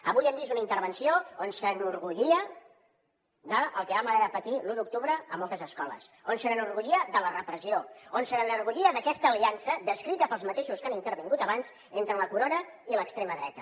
avui hem vist una intervenció on s’enorgullia del que vam haver de patir l’u d’octubre a moltes escoles on s’enorgullia de la repressió on s’enorgullia d’aquesta aliança descrita pels mateixos que han intervingut abans entre la corona i l’extrema dreta